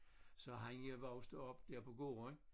Så han voksede op der på gården